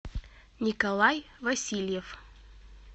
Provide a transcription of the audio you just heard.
николай васильев